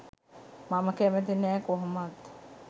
මම කැමති නැ කොහොමත්.